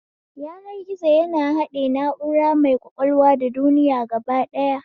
Yanar gizo ya haɗe na'ura mai ƙwaƙwalwa da duniya gaba ɗaya